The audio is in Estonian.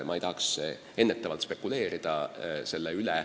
Ma ei tahaks praegu selle üle ennetavalt spekuleerida.